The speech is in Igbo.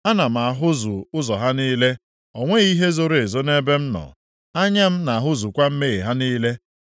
Ana m ahụzu ụzọ ha niile. O nweghị ihe zoro ezo nʼebe m nọ. Anya m na-ahụzukwa mmehie ha niile.